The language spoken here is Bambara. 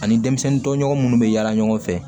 Ani denmisɛnnin tɔɲɔgɔn minnu bɛ yaala ɲɔgɔn fɛ